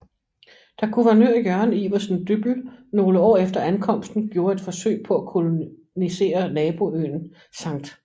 Da guvernør Jørgen Iversen Dyppel nogle år efter ankomsten gjorde et forsøg på at kolonisere naboøen Skt